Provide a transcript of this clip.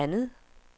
andet